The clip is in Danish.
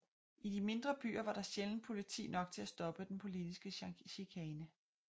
I de mindre byer var der sjældent politi nok til at stoppe den politiske chikane